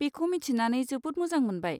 बेखौ मिथिनानै जोबोद मोजां मोनबाय।